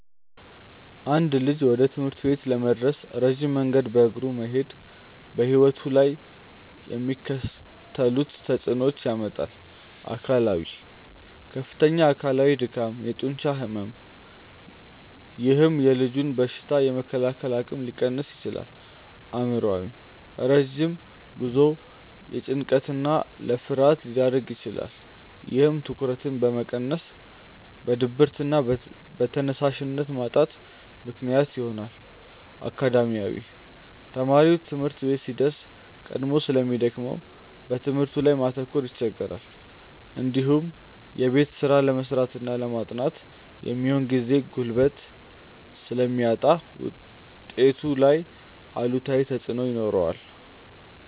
አንድ ልጅ ወደ ትምህርት ቤት ለመድረስ ረጅም መንገድ በእግሩ መሄዱ በሕይወቱ ላይ የሚከተሉትን ተጽዕኖዎች ያመጣል፦ አካላዊ፦ ከፍተኛ አካላዊ ድካም፣ የጡንቻ ሕመም፥፥ ይህም የልጁን በሽታ የመከላከል አቅም ሊቀንስ ይችላል። አእምሯዊ፦ ረጅም ጉዞው ለጭንቀትና ለፍርሃት ሊዳርግ ይችላል። ይህም ትኩረትን በመቀነስ ለድብርትና ለተነሳሽነት ማጣት ምክንያት ይሆናል። አካዳሚያዊ፦ ተማሪው ትምህርት ቤት ሲደርስ ቀድሞ ስለሚደክመው በትምህርቱ ላይ ማተኮር ይቸገራል። እንዲሁም የቤት ስራ ለመስራትና ለማጥናት የሚሆን ጊዜና ጉልበት ስለሚያጣ ውጤቱ ላይ አሉታዊ ተጽዕኖ ይኖረዋል።